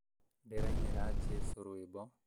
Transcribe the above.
Ndĩrainĩra jesũ rwĩmbo